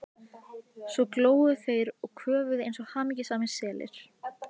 Svo góluðu þeir og köfuðu eins og hamingjusamir selir.